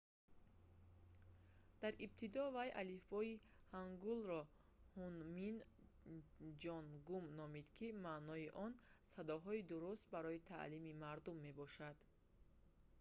дар ибтидо вай алифбои ҳангулро «ҳунмин ҷонгум» номид ки маънои он «садоҳои дуруст барои таълими мардум» мебошад